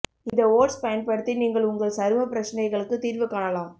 இந்த ஓட்ஸ் பயன்படுத்தி நீங்கள் உங்கள் சரும பிரச்சனைகளுக்குத் தீர்வு காணலாம்